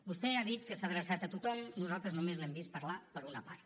vostè ha dit que s’ha adreçat a tothom nosaltres només l’hem vist parlar per a una part